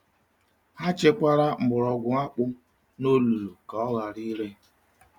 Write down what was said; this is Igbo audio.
Ha chekwara mgbọrọgwụ akpụ n’olulu ka ọ ghara ire.